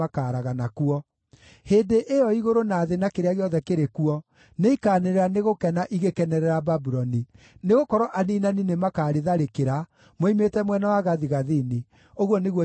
Hĩndĩ ĩyo igũrũ na thĩ na kĩrĩa gĩothe kĩrĩ kuo nĩikanĩrĩra nĩ gũkena igĩkenerera Babuloni, nĩgũkorwo aniinani nĩmakarĩtharĩkĩra, moimĩte mwena wa gathigathini,” ũguo nĩguo Jehova ekuuga.